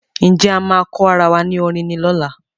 Ǹjẹ́ A máa kọ́ arawa ní orin ni ola